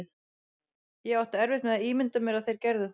Ég átti erfitt með að ímynda mér að þeir gerðu það.